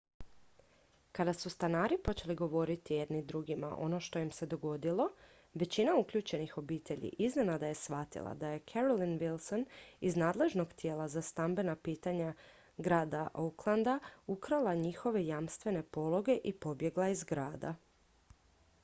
kada su stanari počeli govoriti jedni drugima ono što im se dogodilo većina uključenih obitelji iznenada je shvatila da je carolyn wilson iz nadležnog tijela za stambena pitanja grada oaklanda oha ukrala njihove jamstvene pologe i pobjegla iz grada